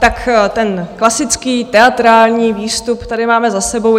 Tak ten klasický teatrální výstup tady máme za sebou.